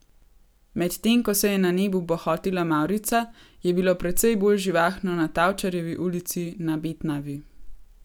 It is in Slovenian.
Medtem ko se je na nebu bohotila mavrica, je bilo precej bolj živahno na Tavčarjevi ulici na Betnavi.